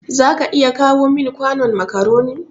za ka iya kawo min kwanon macaroni.